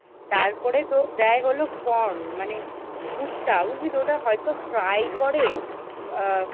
তারপরে তোর দেই হলো corn কোন মানে ভুট্টা ওটা হয়তো fry করে অয়া